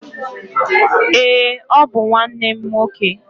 Ee, ọ bụ nwanne m nwoke.